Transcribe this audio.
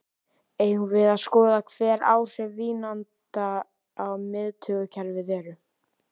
Eigum við að skoða hver áhrif vínanda á miðtaugakerfið eru?